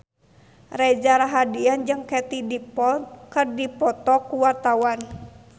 Reza Rahardian jeung Katie Dippold keur dipoto ku wartawan